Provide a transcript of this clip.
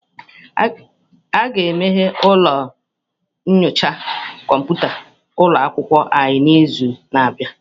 A ga-emeghe ụlọ nyocha kọmputa ụlọ akwụkwọ anyị n'izu na-abịa.